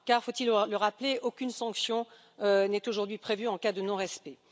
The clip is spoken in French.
Car, faut il le rappeler, aucune sanction n'est aujourd'hui prévue en cas de non respect.